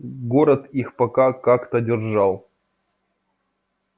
город их пока как-то держал